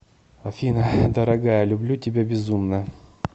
афина дорогая люблю тебя безумно